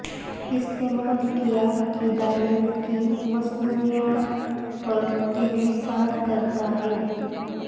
استعمال کیا ہدایت کی مصنوعات پر انحصار کرتا ہے